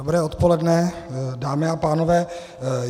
Dobré odpoledne, dámy a pánové.